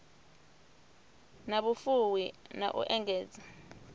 na vhufuwi na u engedza